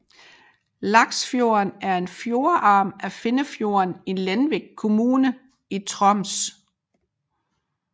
Laksfjorden er en fjordarm af Finnfjorden i Lenvik kommune i Troms